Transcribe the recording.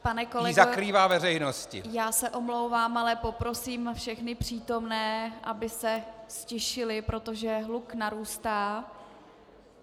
Pane kolego, já se omlouvám, ale poprosím všechny přítomné, aby se ztišili, protože hluk narůstá.